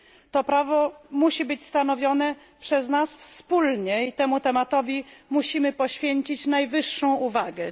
To prawo musi być stanowione przez nas wspólnie i temu tematowi musimy poświęcić najwyższą uwagę.